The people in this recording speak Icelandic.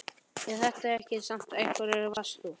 Er það satt sem einhverjir eru að segja: Varst þú.